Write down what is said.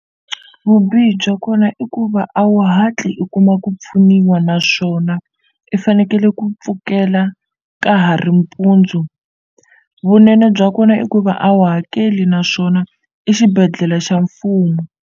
Vubihi bya kona i ku va a wu hatli u kuma ku pfuniwa naswona i fanekele ku pfukela ka ha ri mpundzu vunene bya kona i ku va a wu hakeli naswona i xibedhlele xa mfumo.